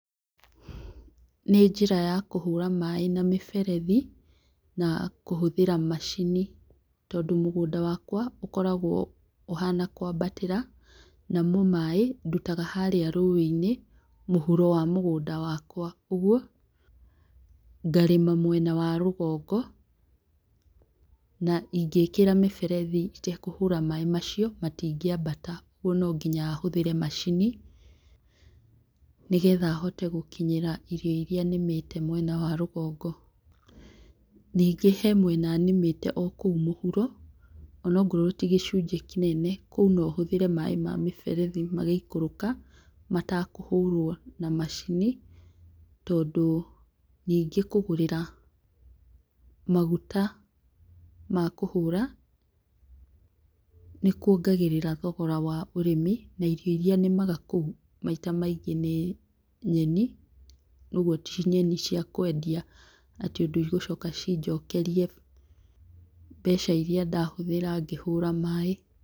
Nĩ njĩra ya kũhũra maaĩ na mĩberethi na kũhũthĩra macini, tondũ mũgũnda wakwa ũkoragwo ũhana kũambatĩra. Namo maaĩ ndutaga harĩa rũĩ-inĩ, mũhuro wa mũgũnda waka. Ũguo ngarĩma mwena wa rũgongo, na ingĩĩkĩra mĩberethi itekũhũra maaĩ macio, matingĩambata, kwoguo no nginya hũthĩre macini nĩgetha hote gũkinyĩra irio iria nĩmĩte mwena wa rũgongo. Ningĩ hena mwena nĩmĩte o kũu mũhuro, onongorwo ti gĩcunjĩ kĩnene, kũu no hũthĩre maaĩ ma mĩberethi magĩikũrũka matakũhũrwo na macini tondũ, ningĩ kũgũrĩra maguta ma kũhũra nĩ kũongagĩrĩra thogora wa ũrĩmi na irio iria nĩmaga kũu maita maingĩ nĩ nyeni, ũguo ti nyeni cia kwendia atĩ ũndũ igũcoka cinjokerie mbeca iria ndahũthĩra ngĩhũra maaĩ.